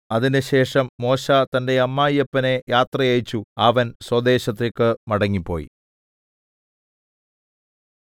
അതിന്‍റെശേഷം മോശെ തന്റെ അമ്മായപ്പനെ യാത്ര അയച്ചു അവൻ സ്വദേശത്തേക്ക് മടങ്ങിപ്പോയി